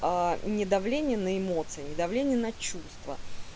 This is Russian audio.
а не давление на эмоции не давление на чувства